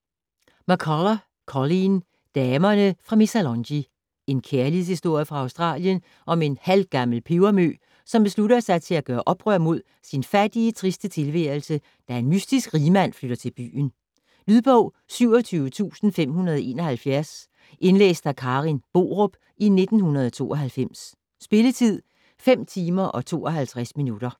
McCullough, Colleen: Damerne fra Missalonghi En kærlighedshistorie fra Australien om en halvgammel pebermø, som beslutter sig til at gøre oprør mod sin fattige, triste tilværelse, da en mystisk rigmand flytter til byen. Lydbog 27571 Indlæst af Karen Borup, 1992. Spilletid: 5 timer, 52 minutter.